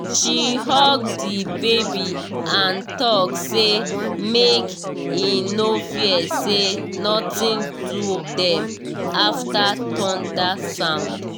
she hug the baby and talk say make e no fear say nothing do dem after thunder sound